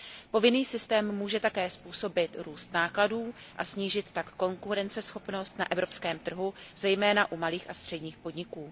Povinný systém může také způsobit růst nákladů, a snížit tak konkurenceschopnost na evropském trhu, zejména u malých a středních podniků.